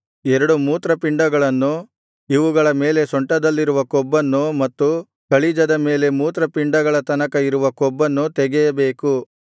ಎರಡು ಮೂತ್ರಪಿಂಡಗಳನ್ನು ಇವುಗಳ ಮೇಲೆ ಸೊಂಟದಲ್ಲಿರುವ ಕೊಬ್ಬನ್ನು ಮತ್ತು ಕಳಿಜದ ಮೇಲೆ ಮೂತ್ರಪಿಂಡಗಳ ತನಕ ಇರುವ ಕೊಬ್ಬನ್ನು ತೆಗೆಯಬೇಕು